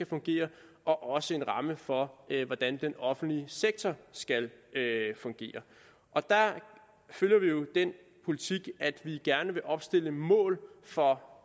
fungere og også for hvordan den offentlige sektor skal fungere der følger vi jo den politik at vi gerne vil opstille mål for